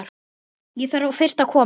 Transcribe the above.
Ég þarf fyrst að koma